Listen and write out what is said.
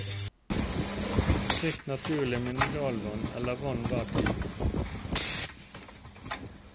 Drikk naturlig mineralvann eller vann hver time.